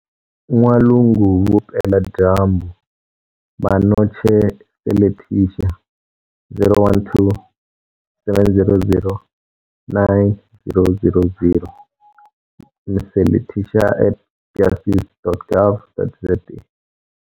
N'walungu Vupeladyambu - Mmanotshe Seletisha - 012 700 9000 - Mseletisha at justice.gov.za